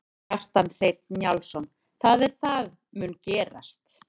Kjartan Hreinn Njálsson: Það er það mun gerast?